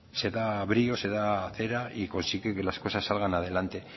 se da brío se da cera y consigue que las cosas que salgan adelante